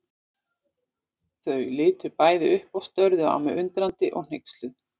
Þau litu bæði upp og störðu á mig undrandi og hneyksluð.